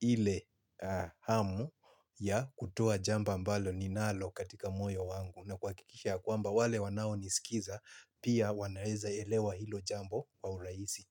ile hamu ya kutoa jambo ambalo ninalo katika moyo wangu. Na kuhakikisha kwamba wale wanaonisikiza pia wanaeza elewa hilo jambo kwa urahisi.